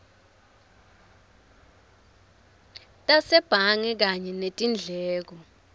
tasebhange kanye netindleko